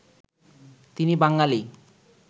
তিনি বাঙালি